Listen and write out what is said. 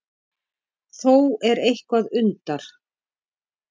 Þó er eitthvað undar